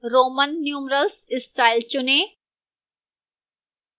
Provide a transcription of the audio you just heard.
roman numerals style चुनें